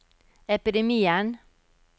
epidemien